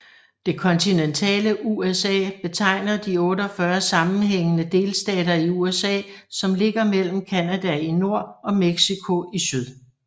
Det kontinentale USA betegner de 48 sammenhængende delstater i USA som ligger mellem Canada i nord og Mexico i syd